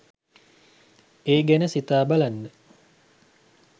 ඒ ගැන සිතා බලන්න